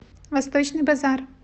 восточный базар